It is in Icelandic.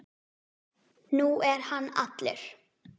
Nú er hann allur.